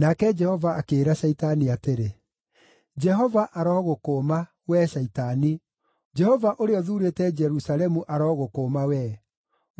Nake Jehova akĩĩra Shaitani atĩrĩ, “Jehova arogũkũũma, wee Shaitani! Jehova ũrĩa ũthuurĩte Jerusalemu arogũkũũma wee!